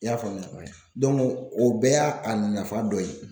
I y'a faamuya o bɛɛ y'a a nafa dɔ ye.